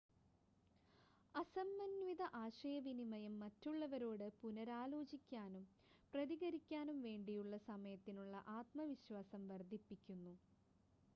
അസമന്വിത ആശയവിനിമയം മറ്റുള്ളവരോട് പുനരാലോചിക്കാനും പ്രതികരിക്കാനും വേണ്ടിയുള്ള സമയത്തിനുള്ള ആത്മവിശ്വാസം വർദ്ധിപ്പിക്കുന്നു